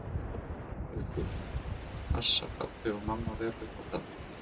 Haukur: Og passa pabbi og mamma vel upp á það?